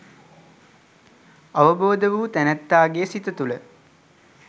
අවබෝධ වූ තැනැත්තාගේ සිත තුළ